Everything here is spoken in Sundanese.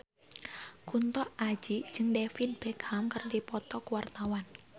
Kunto Aji jeung David Beckham keur dipoto ku wartawan